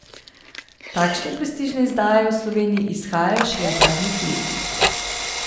Takšne prestižne izdaje v Sloveniji izhajajo šele v zadnjih letih.